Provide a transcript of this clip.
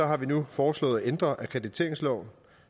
har vi nu foreslået at ændre akkrediteringsloven